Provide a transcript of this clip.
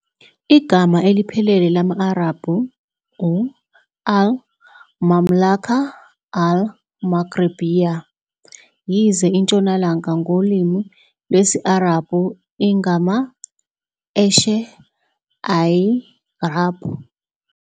Igama eliphelele lama-Arabhu u-al-Mamlakah al-Maghribiyyah, yize "iNtshonalanga" ngolimi lwesi-Arabhu ingama-eshe Al-Gharb.